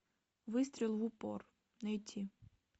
выстрел в упор найти